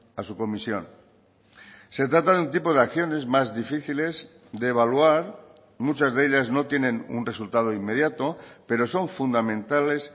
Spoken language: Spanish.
a su comisión se trata de un tipo de acciones más difíciles de evaluar muchas de ellas no tienen un resultado inmediato pero son fundamentales